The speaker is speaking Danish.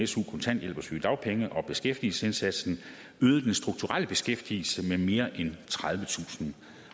su kontanthjælp og sygedagpenge og beskæftigelsesindsatsen øget den strukturelle beskæftigelse med mere end tredivetusind